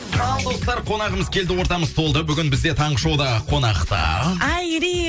ал достар қонағымыз келді ортамыз толды бүгін бізде таңғы шоуда қонақта айри